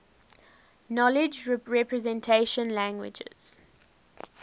knowledge representation languages